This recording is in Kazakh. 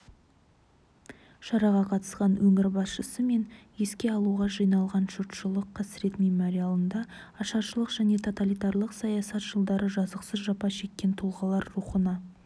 шараға қатысқан өңір басшысы мен еске алуға жиналған жұртшылық қасірет мемориалында ашаршылық және тоталитарлық саясат жылдары жазықсыз жапа шеккен тұлғалар рухына